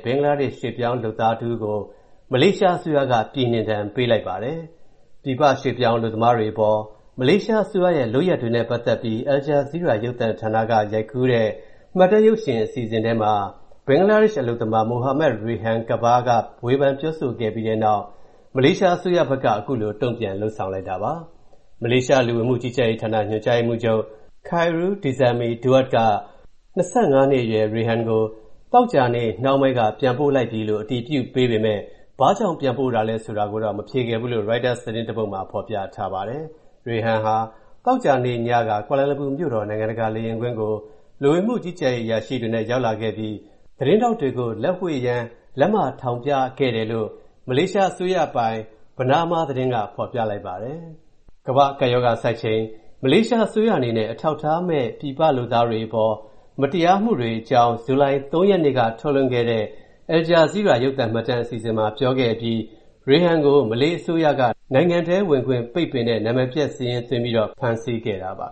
ဘင်္ဂလားဒေ့ရှ် ရွှေ့ပြောင်းလုပ်သား မလေးရှားအစိုးရက ပြည်နှင်ဒဏ်ပေးလိုက်ပါတယ်။ ပြည်ပ ရွှေ့ပြောင်းအလုပ်သမားတွေအပေါ် မလေးရှားအစိုးရရဲ့ လုပ်ရပ်တွေနဲ့ ပတ်သက်ပြီး Al Jazeera ရုပ်သံဌာနက ရိုက်ကူးတဲ့ မှတ်တမ်းတင်ရုပ်သံ အစီအစဉ်ထဲမှာ ဘင်္ဂလားဒေ့ရှ် အလုပ်သမား Mohammad Rayhan Kabir က ဝေဖန်ပြောဆိုခဲ့ပြီးတဲ့နောက် မလေးရှားအစိုးရဘက်က အခုလို တုံ့ပြန် လုပ်ဆောင်တာပါ။ မလေးရှား လူဝင်မှုကြီးကြပ်ရေးဌာန ညွှန်ကြားရေးမှူးချုပ် Khairu Dzaimee Daud က ၂၅ နှစ်အရွယ် Rayhan ကို သောကြာနေ့ နှောင်းပိုင်းက ပြန်ပို့လိုက်ပြီလို့ အတည်ပြုပေးပေမယ့် ဘာကြောင့် ပြန်ပို့တာလဲ ဆိုတာကိုတော့ မဖြေခဲ့ဘူးလို့ ရိုက်တာသတင်းတပုဒ်မှာ ဖော်ပြထားပါတယ်။ Rayhan ဟာ သောကြာနေ့ညက ကွာလာလမ်ပူမြို့တော် နိုင်ငံတကာ လေယာဉ်ကွင်းကို လူဝင်မှုကြီးကြပ်ရေး အရာရှိတွေနဲ့ ရောက်လာခဲ့ပြီး သတင်းထောက်တွေကို လက်ဝှေ့ယမ်း လက်မထောင်ပြခဲ့တယ်လို့ မလေးရှားအစိုးရပိုင် Bernama သတင်းက ပြောပါတယ်။ COVID-19 ကမ္ဘာ့ကပ်ရောဂါဆိုက်ချိန် မလေးရှားအစိုးရအနေနဲ့ အထောက်အထားမရှိတဲ့ ပြည်ပလုပ်သားတွေအပေါ် မတရားပြုမူမှုတွေအကြောင်း ဇူလိုင် ၃ ရက်နေ့က ထုတ်လွှင့်တဲ့ Al Jazeera ရုပ်သံမှတ်တမ်း အစီအစဉ်မှာ ပြောခဲ့အပြီး Rayhan ကို မလေးအစိုးရက နိုင်ငံထဲဝင်ခွင့် ပိတ်ပင်တဲ့ နာမည်ပျက်စာရင်း သွင်းပြီးတော့ ဖမ်းဆီးခဲ့တာပါ